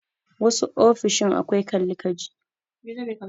Wasu ofishin akwai Kalli ka ji.